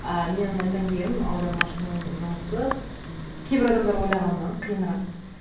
ы менің айтайын дегенім аудармашының жұмысы м кейбір адамдар ойлағаннан қиынырақ